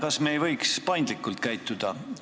Kas me ei võiks paindlikult käituda?